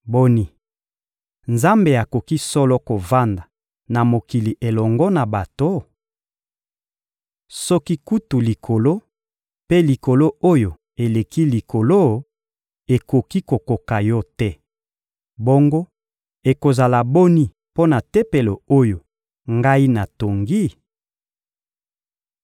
Boni, Nzambe akoki solo kovanda na mokili elongo na bato? Soki kutu Likolo mpe Likolo oyo eleki likolo ekoki kokoka Yo te, bongo ekozala boni mpo na Tempelo oyo ngai natongi?